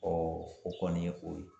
Ɔɔ o kɔni ye o ye